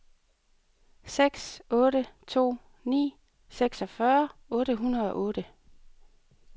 seks otte to ni seksogfyrre otte hundrede og otte